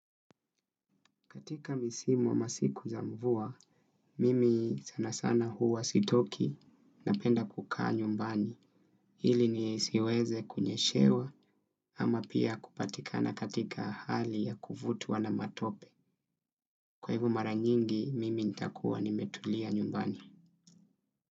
Katika misimu wa masiku za mvua, mimi sana sana huwa sitoki napenda kukaa nyumbani. Hili nisiweze kunyeshewa ama pia kupatikana katika hali ya kuvutwa na matope. Kwa hivo mara nyingi, mimi nitakuwa nimetulia nyumbani.